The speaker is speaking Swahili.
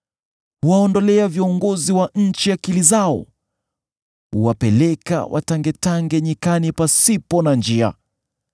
Huwaondolea viongozi wa nchi akili zao; huwapeleka watangetange nyikani pasipo na njia.